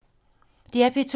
DR P2